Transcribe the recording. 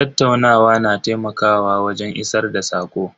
Tattaunawa na taimakawa wajen isar da sako.